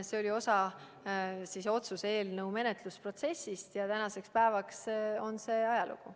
See oli osa selle otsuse eelnõu menetlemise protsessist ja tänaseks päevaks on see ajalugu.